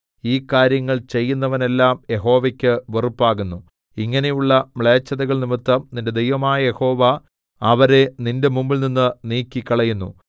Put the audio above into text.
ഈ കാര്യങ്ങൾ ചെയ്യുന്നവനെല്ലാം യഹോവയ്ക്ക് വെറുപ്പാകുന്നു ഇങ്ങനെയുള്ള മ്ലേച്ഛതകൾനിമിത്തം നിന്റെ ദൈവമായ യഹോവ അവരെ നിന്റെ മുമ്പിൽനിന്ന് നീക്കിക്കളയുന്നു